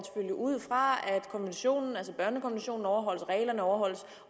ud fra at børnekonventionen overholdes at reglerne overholdes